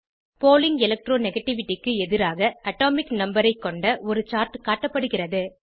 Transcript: பாலிங் electro negativity க்கு எதிராகAtomic number ஐ கொண்ட ஒரு சார்ட் காட்டப்படுகிறது